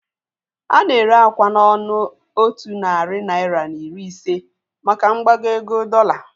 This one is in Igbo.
Ana ere akwa n'ọnụ otu narị naira na iri ise maka mgbago ego dọola.